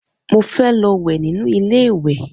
Mo fé lo wè nínú ilé ìwè